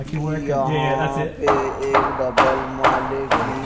इयहां पे एक डबल माले की--